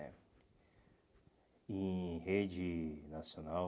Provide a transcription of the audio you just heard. né Em rede nacional...